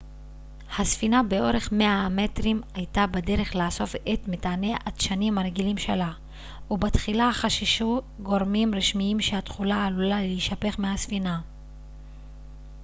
הספינה באורך 100 המטרים הייתה בדרך לאסוף את מטעני הדשנים הרגילים שלה ובתחילה חששו גורמים רשמיים שהתכולה עלולה להישפך מהספינה